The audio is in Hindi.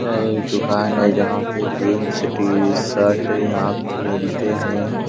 दुकान है जहां पर जींस टी शर्ट यहां पर मिलते हैं।